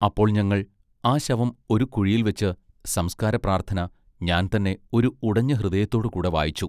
അപ്പോൾ ഞങ്ങൾ ആ ശവം ഒരു കുഴിയിൽ വച്ച് സംസ്കാര പ്രാർത്ഥന ഞാൻ തന്നെ ഒരു ഉടഞ്ഞ ഹൃദയത്തോടു കൂടെ വായിച്ചു.